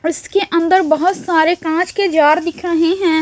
उसके अंदर बहोत सारे कांच के जार दिख रहें हैं।